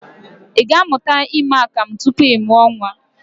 I ga-amụta ime akamụ tupu ị mụọ nnwa?